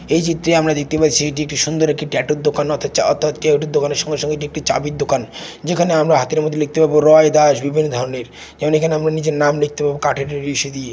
এই চিত্রে আমরা দেখতে পাচ্ছি এটি একটি সুন্দর একটি ট্যাটুর দোকান অর্থাৎ চা অর্থাৎ ট্যাটুর দোকান এর সঙ্গে সঙ্গে একটি চাবির দোকান যেখানে আমরা হাতের মধ্যে লিখতে পারবো রয় দাস বিভিন্ন ধরনের এবং এখানে আমরা নিজের নাম লিখতে পারবো কাঠের ই ইসে দিয়ে।